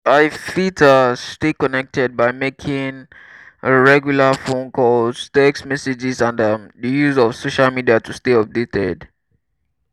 i fit um stay connected by making um regular phone calls text messages and um di use of social media to stay updated.